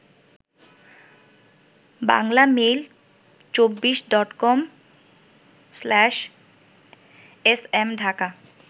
বাংলামেইল২৪ডটকম/এসএম Dhaka